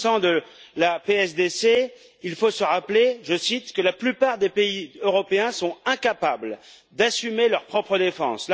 S'agissant de la PSDC, il faut se rappeler, je cite, que la plupart des pays européens sont incapables d'assumer leur propre défense.